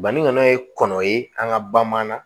Banikɔnɔ ye kɔnɔ ye an ka ba ma na